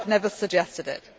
But I have never suggested it.